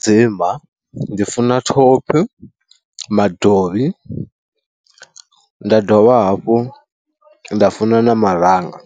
Tshidzimba, ndi funa thophi, madovhi, nda dovha hafhu nda funa na maranga